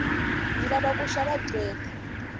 ndzi lava ku va gqweta